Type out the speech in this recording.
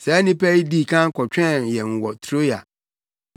Saa nnipa yi dii kan kɔtwɛn yɛn wɔ Troa.